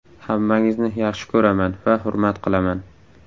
Hammangizni yaxshi ko‘raman va hurmat qilaman.